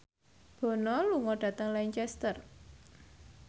Bono lunga dhateng Lancaster